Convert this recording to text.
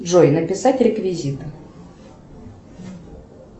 джой написать реквизиты